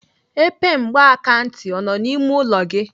Epe mgbakantị ọ nọ n'ime ụlọ gị?